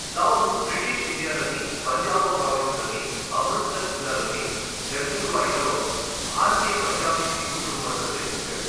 Sound British ఇండియాలోని పంజాబ్ ప్రావిన్స్లోని అమృత్సర్ జిల్లాలోని ఛజుల్వాడిలో భారతీయ పంజాబీ సిక్కు కుటుంబంలో జన్మించాడు.